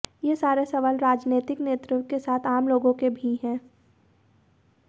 ये सारे सवाल राजनैतिक नेतृत्व के साथ आम लोगों के भी हैं